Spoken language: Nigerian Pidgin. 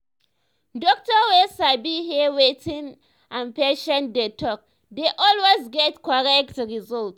doctor wey sabi hear wetin im patients dey talk dey always get correct result.